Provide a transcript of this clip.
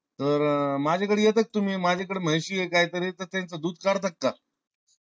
तर माझ्या कड येत्या का तुम्ही? माझ्याकड म्हशी ये गाई ये त्यांच दुध काढता का?